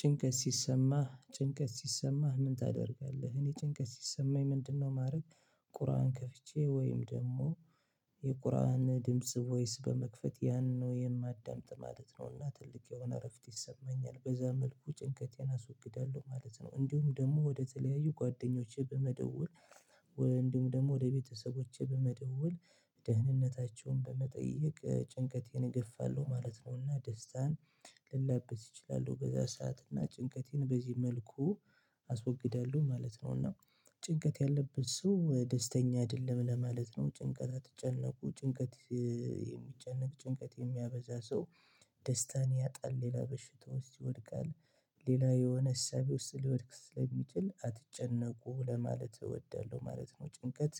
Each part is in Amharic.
ጭንቀት ሲሰማህ ጭንቀት ሲሰማህ ምን ታደርጋለህ እኔ ጭንቀት ሲሰማኝ ምንድነው ማድረግ ቁርአን ከፍቼ ወይም ደግሞ የቁርአን ድምጽ ቮይስ በመክፈት ያንን ነው የማዳምጥ ማለት ነውና ትልቅ የሆነ እረፍት ይሰማኛል። በዛ መልኩ ጭንቀቴን አስወግዳለው ማለት ነው። እንዲሁም ደግሞ ወደ ተለያዩ ጓደኞቼ በመደወል፣ እንዲሁም ደግሞ ወደ ቤተሰቦቼ በመደወል ደህንነታቸውን በመጠየቅ፣ ጭንቀቴን እገፋለሁ ማለት ነውና ደስታን ልላበስ እችላለው በዛ ሰዓት እና ጭንቀቴን በዚህ መልኩ አስወግዳለሁ ማለት ነው። እና ጭንቀት ያለበት ሰው ደስተኛ አይደለም ለማለት ነው። ጭንቀት አትጨነቁ፤ ጭንቀት የሚጨነቅ፣ ጭንቀት የሚያበዛ ሰው ደስታን ያጣል፣ ሌላ በሽታ ውስጥ ይወድቃል። ሌላ የሆነ እሳቢ ውስጥ ሊወድቅ ስለሚችል፤ አትጨነቁ ለማለት እወዳለሁ ማለት ነው። ጭንቀት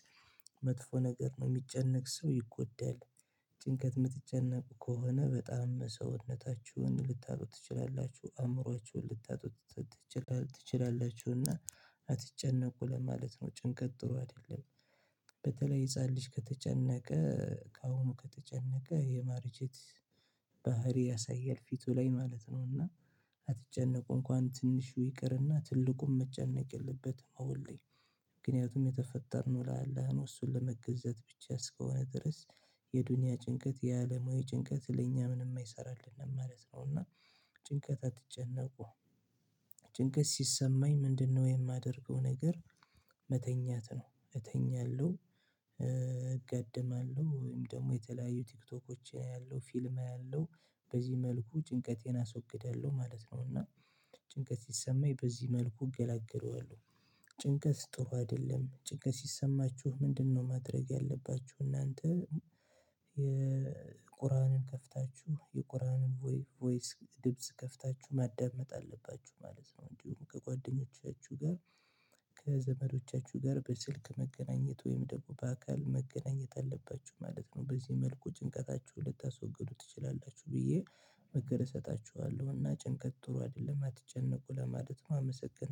መጥፎ ነገር ነው። የሚጨነቅ ሰው ይጎዳል። ጭንቀት የምትጨነቁ ከሆነ በጣም ሰውነታችሁን ልታጡ ትችላላችሁ፤ አእምሮአችሁን ልታጡት ትችላላችሁና አትጨነቁ ለማለት ነው። ጭንቀት ጥሩ አይደለም። በተለይ ህፃን ልጅ ከተጨነቀ፣ ከአሁኑ ከተጨነቀ የማርጄት ባህሪ ያሳያል ፊቱ ላይ ማለት ነውና አትጨነቁ! እንኳን ትንሹ ይቅርና ትልቁን መጨነቅ የለበትም አሁን ላይ፤ ምክንያቱም የተፈጠርነው ለአላህ ነው እሱን ለመገዛት ብቻ እስከሆነ ድረስ የዱንያ ጭንቀት፣ የአለማዊ ጭንቀት ለእኛ ምንም አይሰራልንም ማለት ነውና፤ ጭንቀት አትጨነቁ። ጭንቀት ሲሰማኝ ምንድነው የማደርገው ነገር መተኛት ነው እተኛለሁ፣ እጋደማለሁ ወይም ደግሞ የተለያዩ ቲክቶኮችን አያለሁ፣ ፊልም አያለሁ በዚህ መልኩ ጭንቀቴን አስወግዳለሁ ማለት ነው። እና ጭንቀት ሲሰማኝ በዚህ መልኩ እገላገለዋለሁ። ጭንቀት ጥሩ አይደለም፤ ጭንቀት ሲሰማችሁ ምንድነው ማድረግ ያለባችሁ እናንተ የቁርአንን ከፍታችሁ፤ የቁርአንን ቮይ ቮይስ ድምጽ ከፍታችሁ ማዳመጥ አለባችሁ ማለት ነው። እንዲሁም ከጓደኞቻችሁ ጋር ከዘመዶቻችሁ ጋር በስልክ መገናኘት ወይም ደግሞ በአካል መገናኘት አለባችሁ ማለት ነው። በዚህ መልኩ ጭንቀታችሁን ልታስወግዱ ትችላላችሁ፤ ብዬ ምክር እሰጣችኋለሁ እና ጭንቀት ጥሩ አይደለም። አትጨነቁ ለማለት ነው አመሰግናለሁ።